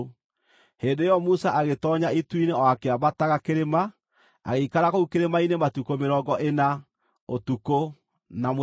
Hĩndĩ ĩyo Musa agĩtoonya itu-inĩ o akĩambataga kĩrĩma. Agĩikara kũu kĩrĩma-inĩ matukũ mĩrongo ĩna, ũtukũ na mũthenya.